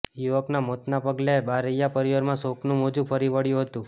યુવકના મોતના પગલે બારૈયા પરિવારમાં શોકનું મોજું ફરી વળ્યું હતુ